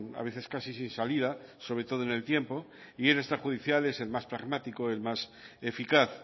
a veces casi sin salida sobre todo en el tiempo y el extrajudicial es el más pragmático el más eficaz